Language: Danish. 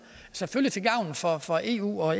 selvfølgelig til gavn for for eu og